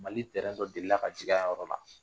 Mali tɛrɛn dɔ delila ka jigin a yɔrɔ la